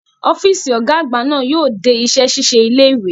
Ọ́fíìsì Ọ̀gá àgbà náà yóò dé iṣẹ́ ṣíṣe ilé ìwé